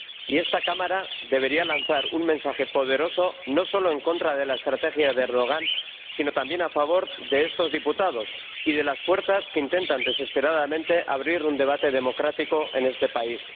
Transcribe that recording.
Y esta Cámara debería lanzar un mensaje poderoso, no solo en contra de la estrategia del Presidente Erdogan, sino también a favor de estos diputados y de las fuerzas que intentan desesperadamente abrir un debate democrático en este país.